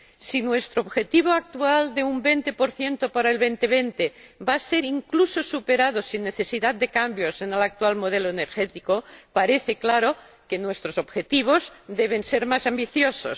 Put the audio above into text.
Si nuestro objetivo actual de un 20 para el año 2020 va a ser incluso superado sin necesidad de cambios en el actual modelo energético, parece claro que nuestros objetivos deben ser más ambiciosos.